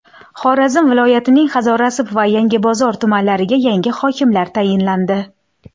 Xorazm viloyatining Hazorasp va Yangibozor tumanlariga yangi hokimlar tayinlandi.